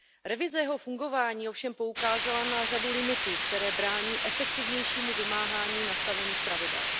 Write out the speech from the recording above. Revize jeho fungování ovšem poukázala na řadu limitů, které brání efektivnějšímu vymáhání nastavených pravidel.